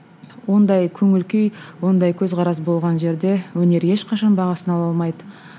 ондай көңіл күй ондай көзқарас болған жерде өнер ешқашан бағасын ала алмайды